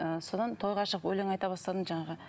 ы содан тойға шығып өлең айта бастадым жаңағы